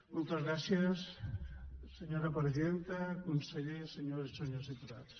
moltes gràcies senyora presidenta conseller senyores i senyors diputats